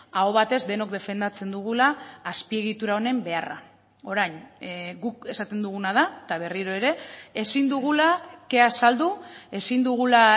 aho batez denok defendatzen dugula azpiegitura honen beharra orain guk esaten duguna da eta berriro ere ezin dugula kea saldu ezin dugula